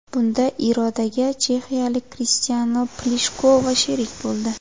Bunda Irodaga chexiyalik Kristina Plishkova sherik bo‘ldi.